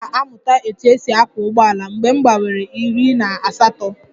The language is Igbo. M ga-amụta otú e si akwọ ụgbọala mgbe m gbanwere iri na asatọ